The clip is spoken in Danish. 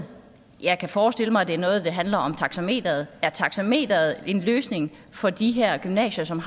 jeg kan forestille mig at det er noget der handler om taxameteret er taxameteret en løsning for de her gymnasier som